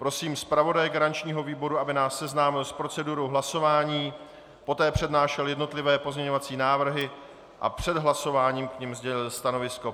Prosím zpravodaje garančního výboru, aby nás seznámil s procedurou hlasování, poté přednášel jednotlivé pozměňující návrhy a před hlasováním k nim sdělil stanovisko.